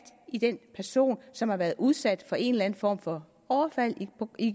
i den person som har været udsat for en eller anden form for overfald